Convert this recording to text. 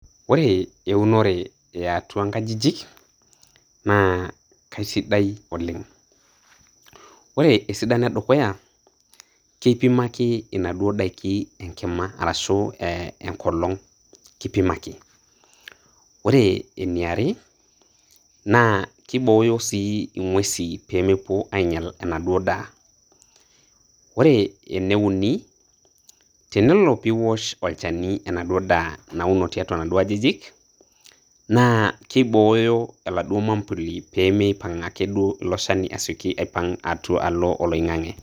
Ore eunore eatua nkajijik, naa kesidai oleng'. Ore esidano edukuya, kipimaki inaduo daiki enkima, arashu enkolong',kipimaki. Ore eniare, naa kibooyo si ing'uesin pemepuo ainyal enaduo daa. Ore eneuni, tenelo piwosh olchani enaduo daa nauno tiatua naduo ajijik, na kibooyo oladuo mambuli pemeipang' ake duo ilo shani asking aipang' alo oloing'ang'e.